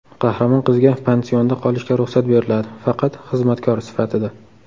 Qahramon qizga pansionda qolishga ruxsat beriladi, faqat xizmatkor sifatida.